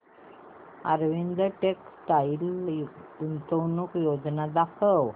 Arvind textile गुंतवणूक योजना दाखव